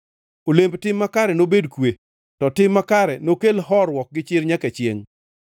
Olemb tim makare nobed kwe; to tim makare nokel horuok gi chir nyaka chiengʼ.